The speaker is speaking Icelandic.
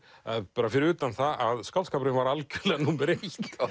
bara fyrir utan það að skáldskapurinn var algjörlega númer eitt